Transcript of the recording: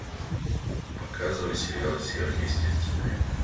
показывай сериал сверхъестественное